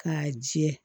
K'a jɛ